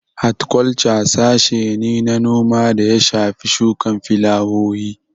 Hatkwalca sashe ne na noma da ya shafi shukan filawowi